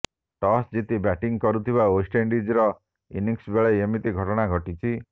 toss ଜିତି batting କରୁଥିବା ୱେଷ୍ଟଇଣ୍ଡିଜ୍ର ଇନିଂସ୍ ବେଳେ ଏମିତି ଘଟଣା ଘଟିଛି